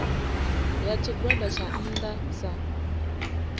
ya tshigwada tsha nnda sa